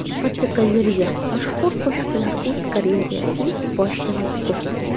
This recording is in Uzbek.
Fotogalereya: Mashhur qo‘shiqchilar o‘z karyerasining boshida va bugun.